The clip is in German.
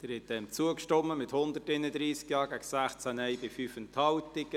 Sie haben der Planungserklärung Nr. 2 zugestimmt, mit 131 Ja- gegen 16 Nein-Stimmen bei 5 Enthaltungen.